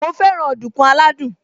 Mo fẹ́ràn ọ̀dùnkún aládùn